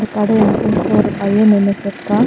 இந்தக் கட என்ட்ரன்ஸ்ல ஒரு பைய நின்னுட்ருக்கா.